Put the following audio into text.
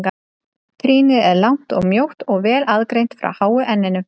Trýnið er langt og mjótt og vel aðgreint frá háu enninu.